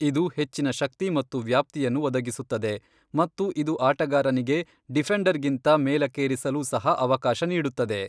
ಇದು ಹೆಚ್ಚಿನ ಶಕ್ತಿ ಮತ್ತು ವ್ಯಾಪ್ತಿಯನ್ನು ಒದಗಿಸುತ್ತದೆ, ಮತ್ತು ಇದು ಆಟಗಾರನಿಗೆ ಡಿಫೆಂಡರ್ಗಿಂತ ಮೇಲಕ್ಕೇರಿಸಲೂ ಸಹ ಅವಕಾಶ ನೀಡುತ್ತದೆ.